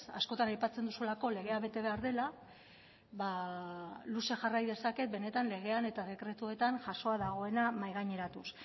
askotan aipatzen duzuelako legea bete behar dela ba luze jarrai dezaket benetan legean eta dekretuetan jasoa dagoena mahai gaineratuz